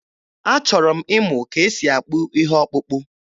Achọrọ m ịmụ ka e si akpụ ihe ọkpụkpụ.